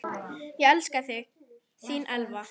Ég elska þig, þín Elva.